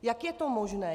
Jak je to možné?